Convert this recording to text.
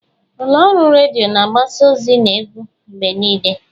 Ụlọ ọrụ redio na-agbasa ozi na egwu mgbe niile.